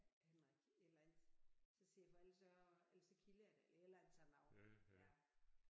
Henrik et eller andet så siger jeg for ellers så ellers så kilder jeg dig et eller andet sådan noget ja